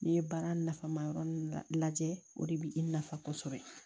N'i ye baara nafa ma yɔrɔ lajɛ o de bɛ i nafa